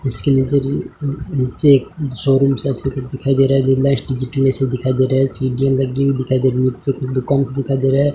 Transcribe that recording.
उसके नीचे जो नीचे एक शोरूम सा चित्र दिखाई दे रहा दिखाई दे रहा है सीढ़ियां लगी हुई दिखाई दे रही हैं नीचे कुछ दुकान सा दिखाई दे रहा है।